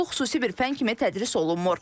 Lakin bu xüsusi bir fən kimi tədris olunmur.